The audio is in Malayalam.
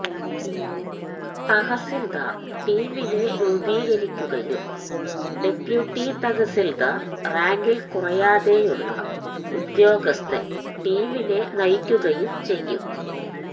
തഹസിൽദാർ ടീമിനെ രൂപീകരിക്കുകയും ഡെപ്യൂട്ടി തഹസിൽദാർ റാങ്കിൽ കുറയാതെയുള്ള ഉദ്യോഗസ്ഥൻ ടീമിനെ നയിക്കുകയും ചെയ്യും